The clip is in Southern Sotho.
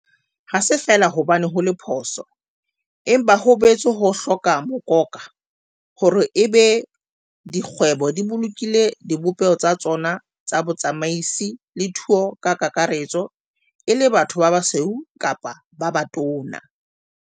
Ha se feela hobane ho le phoso, empa ho boetse ho hloka mokoka, hore e be di kgwebo di bolokile dibopeho tsa tsona tsa botsamaisi le thuo ka kakaretso e le batho ba basweu kapa ba batona.